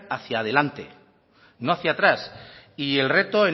hacia delante no hacia atrás y el reto